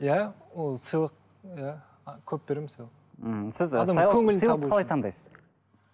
иә ол сыйлық иә көп беремін сыйлық ммм сіз